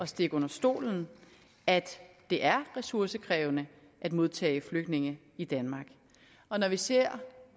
stikke under stolen at det er ressourcekrævende at modtage flygtninge i danmark og når vi ser